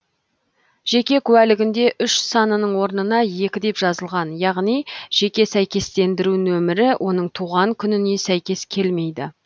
жеке куәлігінде үш санының орнына екі деп жазылған яғни жеке сәйкестендіру нөмірі оның туған күніне сәйкес келмейді